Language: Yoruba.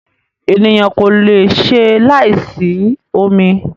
Ènìyàn kò lè ṣe láì sí omi.